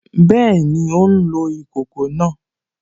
Bẹ́ẹ̀ni, ó ń lo ìkòkò náà